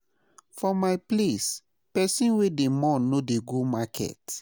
For my place, pesin wey dey mourn no dey go market.